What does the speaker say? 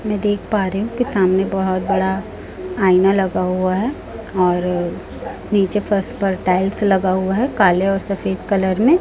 मैं देख पा रही हूं कि सामने बहोत बड़ा आईना लगा हुआ है और नीचे फर्श पर टाइल्स लगा हुआ है काले और सफेद कलर में--